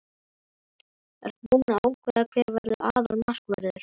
Ertu búinn að ákveða hver verður aðalmarkvörður?